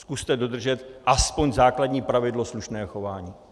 Zkuste dodržet aspoň základní pravidlo slušného chování.